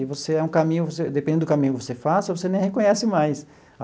Que você é um caminho você dependendo do caminho que você faça, você nem reconhece mais.